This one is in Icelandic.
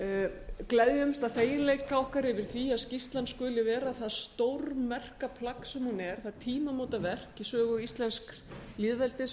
við gleðjumst af feginleik okkar yfir því að skýrslan skuli vera það stórmerka plagg sem hún er það tímamótaverk í sögu íslensks lýðveldis og